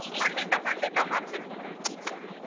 ಖಂಡಿತ ಖಂಡಿತ ಮಾಡ್ತೀನಿ .